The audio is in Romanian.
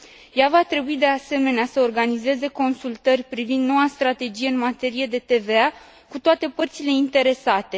Ea va trebui, de asemenea, să organizeze consultări privind noua strategie în materie de TVA cu toate părțile interesate.